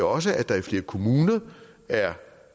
også at der i flere kommuner er